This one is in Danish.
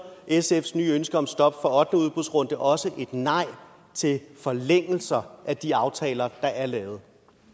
sfs nye ønske om stop for ottende udbudsrunde også et nej til forlængelser af de aftaler der er lavet